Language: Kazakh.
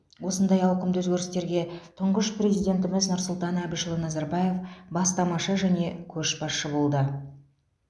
осындай ауқымды өзгерістерге тұңғыш президентіміз нұрсұлтан әбішұлы назарбаев бастамашы және көшбасшы болды